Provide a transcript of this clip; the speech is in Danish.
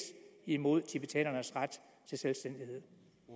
imod tibetanernes ret til selvstændighed